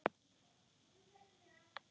Góða nótt og sofðu rótt.